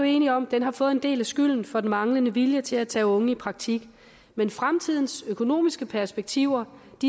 enige om har fået en del af skylden for den manglende vilje til at tage unge i praktik men fremtidens økonomiske perspektiver